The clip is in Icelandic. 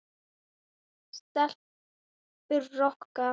Stelpur rokka!